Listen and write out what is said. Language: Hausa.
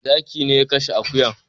Zaki ne ya kashe akuyan